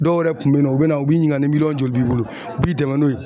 Dɔw yɛrɛ kun be yen nɔ u be na u b'i ɲininga ni miliyɔn joli b'i bolo u b'i dɛmɛ n'o ye